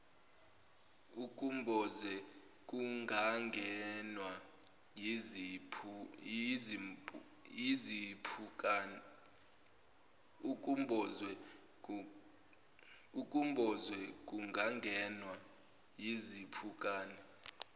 ukumboze kungangenwa yizimpukane